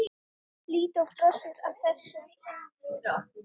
Lídó brosir bara að þessu.